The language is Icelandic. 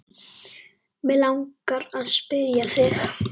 Mig langar að spyrja þig.